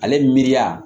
Ale miiriya